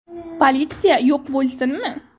Politsiya yo‘q bo‘lsinmi?